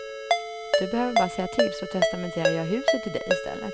Du behöver bara säga till, så testamenterar jag huset till dig i stället.